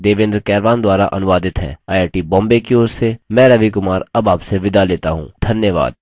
यह स्क्रिप्ट देवेन्द्र कैरवान द्वारा अनुवादित है आई आई टी बॉम्बे की और से मैं रवि कुमार अब आपसे विदा लेता हूँ धन्यवाद